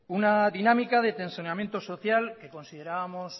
una dinámica de tensionamiento social que considerábamos